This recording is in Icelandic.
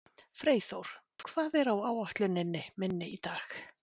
Freyþór, hvað er á áætluninni minni í dag?